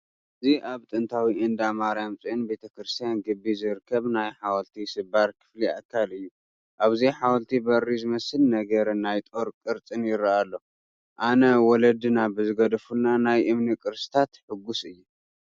እዚ ኣብ ጥንታዊ እንዳ ማርያም ፅዮን ቤተ ክርስቲያን ግቢ ዝርከብ ናይ ሓወልቲ ስባር ክፍሊ ኣካል እዩ፡፡ ኣብዚ ሓወልቲ በሪ ዝመስል ነገርን ናይ ጦር ቅርፅን ይርአ ኣሎ፡፡ ኣነ ወለድና ብዝገደፉልና ናይ እምኒ ቅርስታት ሕጉስ እየ፡፡